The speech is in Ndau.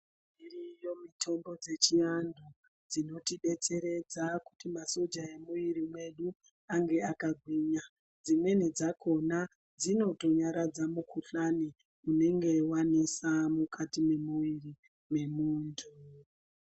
Iriyo mitombo dzechivantu dzinotibetseredza kuti masoja emuwiri medu ange akagwinya, dzimweni dzakona dzinotonyaradza mikhuhlani inenge yawandisa mukati mwemuwiri mwemuntu.